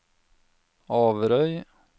Averøy